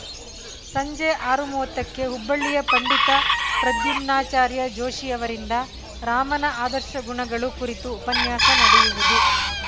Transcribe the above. ಸಂಜೆ ಆರು ಮೂವತ್ತಕ್ಕೆ ಹುಬ್ಬಳ್ಳಿಯ ಪಂಡಿತ ಪ್ರದ್ಯುಮ್ನಾಚಾರ್ಯ ಜೋಶಿ ಅವರಿಂದ ರಾಮನ ಆದರ್ಶ ಗುಣಗಳು ಕುರಿತು ಉಪನ್ಯಾಸ ನಡೆಯುವುದು